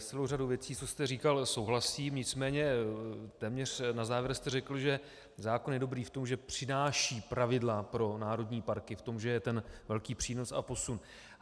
S celou řadou věcí, co jste říkal, souhlasím, nicméně téměř na závěr jste řekl, že zákon je dobrý v tom, že přináší pravidla pro národní parky, v tom že je ten velký přínos a posun.